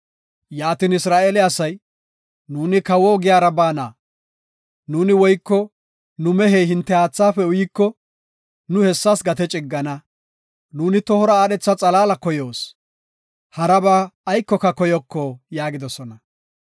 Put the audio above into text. Yaatin Isra7eele asay, “Nuuni kawo ogiyara baana; nuuni woyko nu mehey hinte haathaafe uyiko, nuuni hessas gate ciggana; nuuni tohora aadhetha xalaala koyoos; haraba aykoka koyoko” yaagidosona.